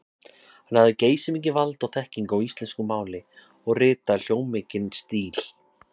Hann hafði geysimikið vald og þekkingu á íslensku máli og ritaði hljómmikinn stíl.